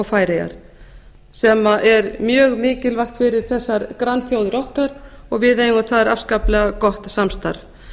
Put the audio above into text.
færeyjar sem er mjög mikilvægt fyrir þessar grannþjóðir okkar og við eigum þar afskaplega gott samstarf